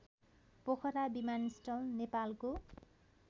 पोखरा विमानस्थल नेपालको